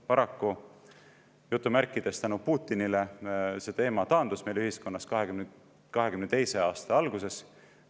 Paraku "tänu Putinile" see teema taandus meil ühiskonnas 2022. aasta alguses.